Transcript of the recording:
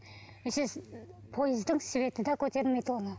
пойыздың светі де көтермейді оны